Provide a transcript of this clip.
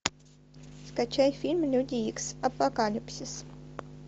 скачай фильм люди икс апокалипсис